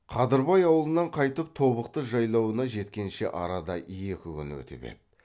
қадырбай аулынан қайтып тобықты жайлауына жеткенше арада екі күн өтіп еді